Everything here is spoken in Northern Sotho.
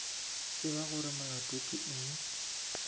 tseba gore molato ke eng